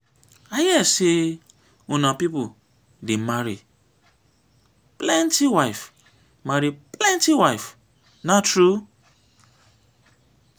i hear say una people dey marry plenty wife marry plenty wife na true?